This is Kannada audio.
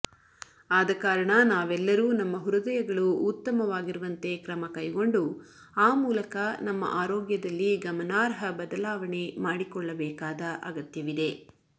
ಆದಕಾರಣ ನಾವೆಲ್ಲರೂ ನಮ್ಮ ಹೃದಯಗಳು ಉತ್ತಮವಾಗಿರುವಂತೆ ಕ್ರಮ ಕೈಗೊಂಡು ಆ ಮೂಲಕ ನಮ್ಮ ಆರೋಗ್ಯದಲ್ಲಿ ಗಮನಾರ್ಹ ಬದಲಾವಣೆ ಮಾಡಿಕೊಳ್ಳಬೇಕಾದ ಅಗತ್ಯವಿದೆ